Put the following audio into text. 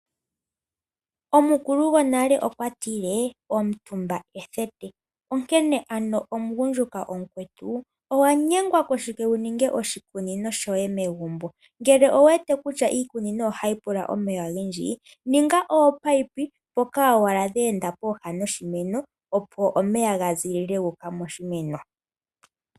Omukulu ngonale okwa tile omutumba ethete, onkene ano omungundjuka omukwetu owanyengwa koshike wuninge oshikunino shoye megumbo, ngele owuwete kutya iikunino ohayipula omeya ongendji ninga oopayipi poka owala dhenda poha dhoshimeno opo omeya ngazile moshimeno.